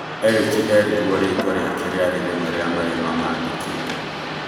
Erĩki erirwo rĩtwa rĩake rĩarĩ rĩmwe rĩa marĩa mamandĩkĩte.